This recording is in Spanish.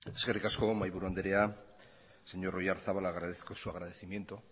eskerrik asko mahaiburu anderea señor oyarzabal agradezco su agradecimiento